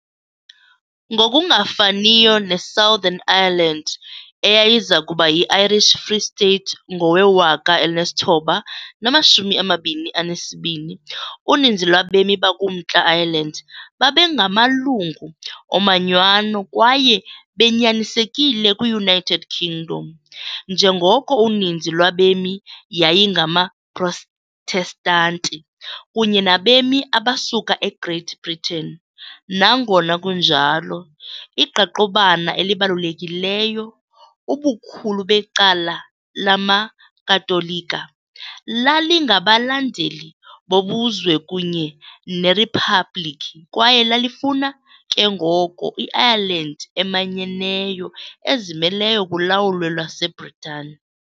Ngokungafaniyo ne-Southern Ireland, eyayiza kuba yi-Irish Free State ngowe-1922, uninzi lwabemi bakuMntla Ireland babengamalungu omanyano kwaye benyanisekile kwi-United Kingdom, njengoko uninzi lwabemi yayingamaProtestanti kunye nabemi abasuka eGreat Britain, nangona kunjalo, iqaqobana elibalulekileyo, ubukhulu becala lamaKatolika, lalingabalandeli bobuzwe kunye neriphabliki kwaye lalifuna, ke ngoko, i-Ireland emanyeneyo ezimeleyo kulawulo lwaseBritani.